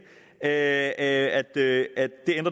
sagde at det